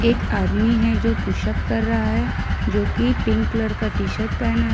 एक आदमी है जो पुशअप कर रहा है जो कि पिंक कलर का टी शर्ट पहना है।